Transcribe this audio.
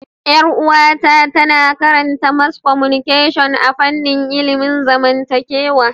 Yar uwata tana karanta mass communication a fanin ilimin zamantakewa